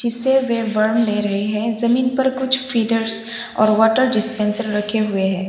से वे वार्म ले रहे हैं जमीन पर कुछ फीडर्स और वॉटर डिस्पेंसर रखे हुए हैं।